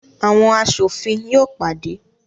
Awọn aṣofin yóò pàdé